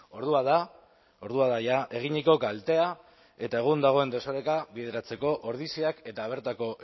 ordua da ordua da ja eginiko kaltea eta egun dagoen desoreka bideratzeko ordiziak eta bertako